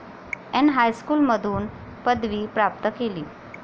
N हायस्कूलमधून पदवी प्राप्त केली.